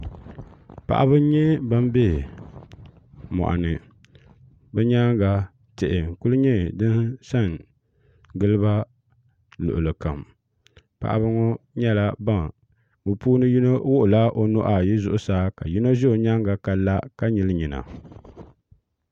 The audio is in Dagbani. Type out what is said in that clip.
paɣ' ba n nyɛ ban bɛ moni bɛ nyɛŋa tihi n lu nyɛ din sangiliba luɣili kam paɣ' ba ŋɔ nyɛɛ be puuni yino wuɣ' la onuu zuɣ saa ka yino za o nyɛŋa ka la ka nyɛli nyɛna